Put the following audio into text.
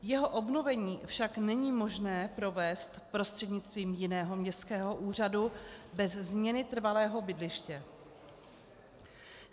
Jeho obnovení však není možné provést prostřednictvím jiného městského úřadu bez změny trvalého bydliště.